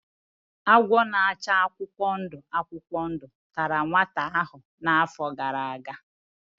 Agwọ na-acha akwụkwọ ndụ akwụkwọ ndụ tara nwata ahụ n'afọ gara aga.